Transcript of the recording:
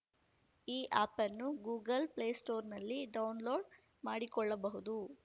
ಈ ಆ್ಯಪ್‌ನ್ನು Google play ಸ್ಟೋರ್‌ನಲ್ಲಿ ಡೌನ್‌ಲೋಡ್‌ ಮಾಡಿಕೊಳ್ಳಬಹುದು